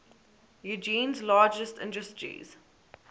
eugene's largest industries